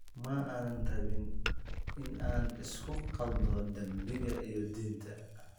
Ma aanan rabin in aan isku khaldo dambiga iyo diinta.